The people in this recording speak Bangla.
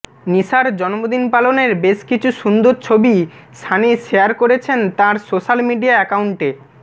নিশার জন্মদিন পালনের বেশ কিছু সুন্দর ছবি সানি শেয়ার করেছেন তাঁর সোশ্যাল মিডিয়া অ্যাকাউন্টে